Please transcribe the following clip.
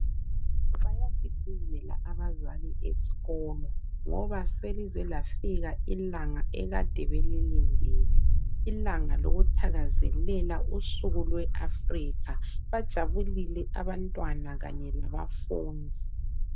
Bayadidizela abazali esikolo ngoba selize lafika ilanga akade belilindile ilanga lokuthakazelela usuku lwe Afrika bajabulile abantwana kanye labafundi